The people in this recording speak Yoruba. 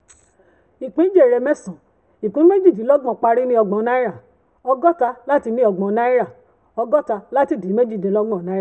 ìpín jèrè mẹ́sàn-án ìpín méjìdínlọ́gbọ̀n parí ní ọgbọ̀n náírà ọgọ́ta láti ní ọgbọ̀n náírà ọgọ́ta láti ìpín méjìdínlọ́gbọ̀n náírà.